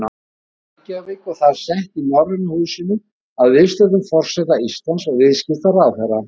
Reykjavík og það sett í Norræna húsinu að viðstöddum forseta Íslands og viðskiptaráðherra.